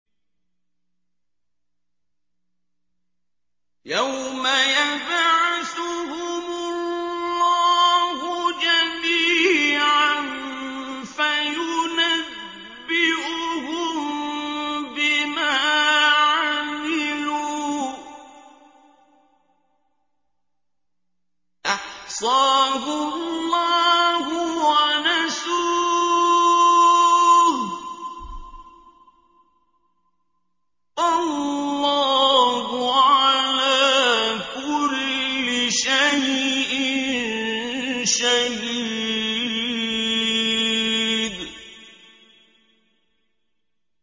يَوْمَ يَبْعَثُهُمُ اللَّهُ جَمِيعًا فَيُنَبِّئُهُم بِمَا عَمِلُوا ۚ أَحْصَاهُ اللَّهُ وَنَسُوهُ ۚ وَاللَّهُ عَلَىٰ كُلِّ شَيْءٍ شَهِيدٌ